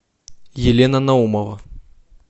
елена наумова